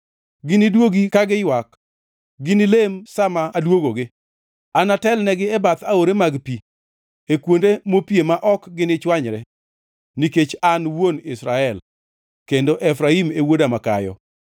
Giniduogi ka giywak; gini lem sa ma aduogogi. Anatelnegi e bath aore man-gi pi, e kuonde mopie ma ok ginichwanyre, nikech an wuon Israel, kendo Efraim e wuoda makayo.